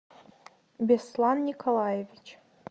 беслан николаевич